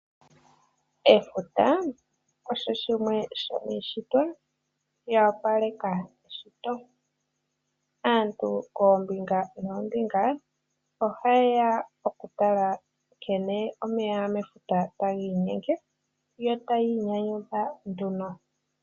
Efuta osho shimwe shomishitwa ya opaleka eshito. Aantu koombinga noombinga ohayeya okutala nkene omeya mefuta taginyenge yo tayi nyanyudha nduno.